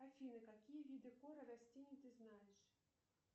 афина какие виды коры растений ты знаешь